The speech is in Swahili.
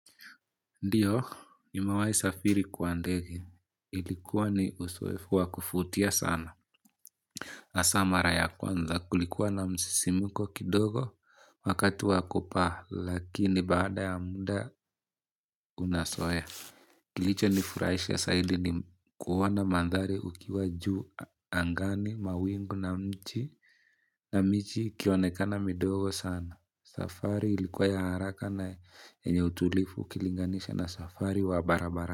Ndiyo, nimwahi safiri kwa ndege. Ilikuwa ni usoefu wa kufutia sana. Asa mara ya kwanza kulikuwa na msisimuko kidogo wakati wa kupaa lakini baada ya muda unasoea. Kilicho nifurahisha sahidi ni kuona mandhari ukiwa juu angani mawingu na mchi na michi ikionekana midogo sana. Safari ilikuwa ya haraka na yenye utulifu ukilinganisha na safari wa barabara.